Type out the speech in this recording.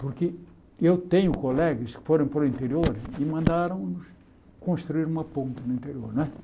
Porque eu tenho colegas que foram para o interior e mandaram construir uma ponta no interior, não é?